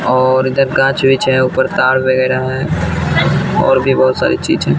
और इधर कांच बिछा हैं ऊपर तार वगैरह हैं और भी बहोत सारी चीज हैं।